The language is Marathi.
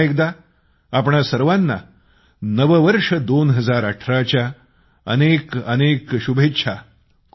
पुन्हा एकदा आपणा सर्वांना नववर्ष 2018 च्या अनेकअनेक शुभेच्छा